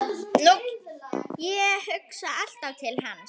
Ég hugsa alltaf til hans.